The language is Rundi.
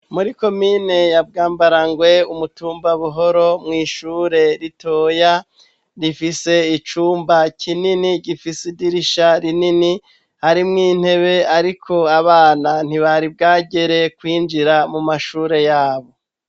Muri komine yabwambarangwe umutumbabuhoro mw'ishure ritoya rifise icumba kinini gifise idirisha rinini harimwo intebe, ariko abana ntibari bwagere kwinjira mu mashure yabo.